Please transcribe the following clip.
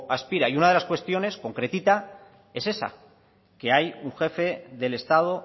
aspira y una de las cuestiones concretita es esa que hay un jefe del estado